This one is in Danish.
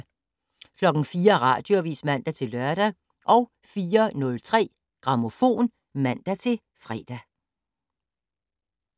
04:00: Radioavis (man-lør) 04:03: Grammofon (man-fre)